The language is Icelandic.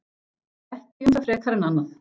Ekki um það frekar en annað.